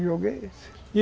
O jogo é esse.